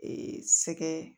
sɛgɛn